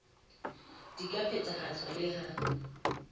di ka phethahatswa le ha